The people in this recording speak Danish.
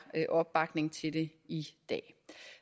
opbakning til det i dag